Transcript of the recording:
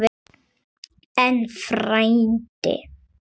En, frændi